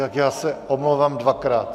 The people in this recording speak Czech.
Tak já se omlouvám dvakrát.